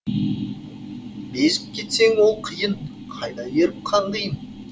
безіп кетсең ол қиын қайда еріп қаңғиын